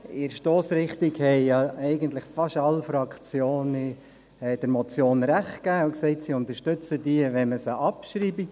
In der Stossrichtung haben eigentlich fast alle Fraktionen der Motion Recht gegeben und gesagt, sie unterstützten diese, wenn man sie abschreibe.